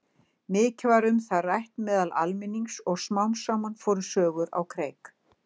Mikið var um það rætt meðal almennings og smám saman fóru sögur á kreik.